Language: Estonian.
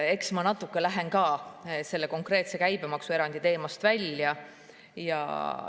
Eks ka mina lähen natuke selle konkreetse käibemaksuerandi teemast välja.